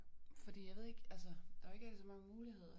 Fordi jeg ved ikke altså der jo ikke rigtig så mange muligheder